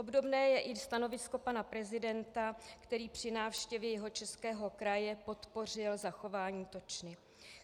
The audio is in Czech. Obdobné je i stanovisko pana prezidenta, který při návštěvě Jihočeského kraje podpořil zachování točny.